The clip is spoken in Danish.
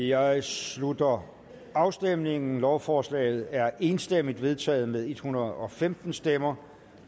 jeg slutter afstemningen lovforslaget er enstemmigt vedtaget med en hundrede og femten stemmer